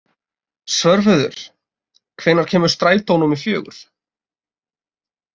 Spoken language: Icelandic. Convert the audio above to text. Svörfuður, hvenær kemur strætó númer fjögur?